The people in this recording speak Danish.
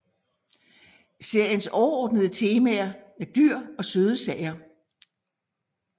Seriens overordnede temaer er dyr og søde sager